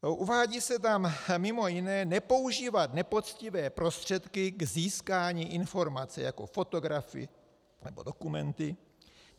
Uvádí se tam mimo jiné nepoužívat nepoctivé prostředky k získání informace jako fotografy nebo dokumenty.